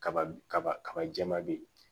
Kaba kaba kaba jɛma be yen